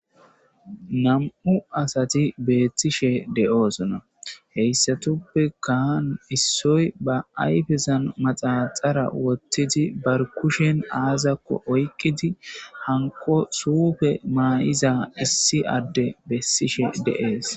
Nam'u asati beettishe de7oosona heyssatuppe kaan issoy ba ayfezan maxaxara wottidi bar kushen aazakko oyqidi hanko suufe maayiza issi adde bessishe dees.